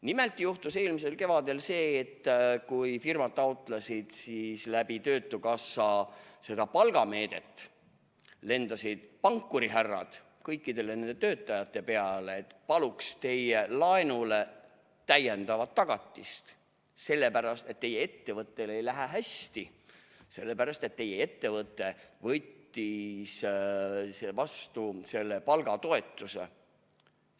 Nimelt juhtus eelmisel kevadel see, et kui firmad taotlesid töötukassa kaudu seda palgameedet, siis lendasid pankurihärrad kõikidele nendele töötajatele peale, et paluks teie laenule täiendavat tagatist, sellepärast et teie ettevõttel ei lähe hästi, sellepärast et teie ettevõte võttis vastu selle palgatoetuse.